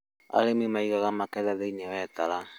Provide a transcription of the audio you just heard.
Arĩmi maigaga magetha thĩini wa itara